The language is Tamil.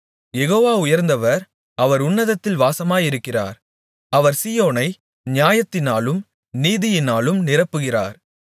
யெகோவா உயர்ந்தவர் அவர் உன்னதத்தில் வாசமாயிருக்கிறார் அவர் சீயோனை நியாயத்தினாலும் நீதியினாலும் நிரப்புகிறார்